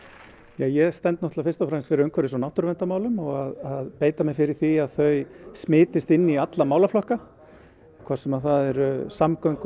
ég stend náttúrulega fyrst og fremst fyrir umhverfis og náttúruverndarmálum og að beita mér fyrir því að þau smitist inn í alla málaflokka hvort sem það eru samgöngumál